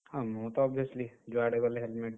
ହଁ ମୁଁ ତ ଯୁଆଡେ ଗଲେ helmet ।